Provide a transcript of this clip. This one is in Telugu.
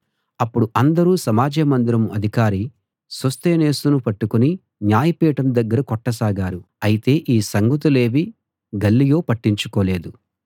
అప్పుడు అందరూ సమాజ మందిరం అధికారి సోస్తెనేసును పట్టుకుని న్యాయపీఠం దగ్గర కొట్టసాగారు అయితే ఈ సంగతులేవీ గల్లియో పట్టించుకోలేదు